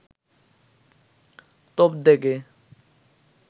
তোপ দেগে